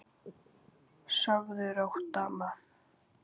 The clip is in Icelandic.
Sofðu rótt, amma.